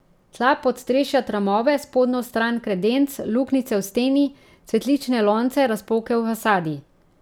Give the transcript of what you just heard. Tla, podstrešje, tramove, spodnjo stran kredenc, luknjice v steni, cvetlične lonce, razpoke v fasadi.